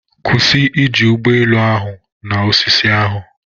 Kwụsị iji ụgbọ elu ahụ na osisi ahụ!.